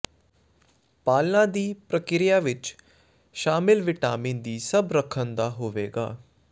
ਪਾਲਣਾ ਦੀ ਪ੍ਰਕਿਰਿਆ ਵਿੱਚ ਸ਼ਾਮਿਲ ਵਿਟਾਮਿਨ ਦੀ ਸਭ ਰੱਖਣ ਦਾ ਹੋਵੇਗਾ